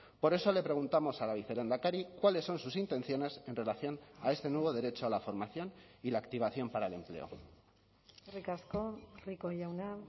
por eso le preguntamos a la vicelehendakari cuáles son sus intenciones en relación a este nuevo derecho a la formación y la activación para el empleo eskerrik asko rico jauna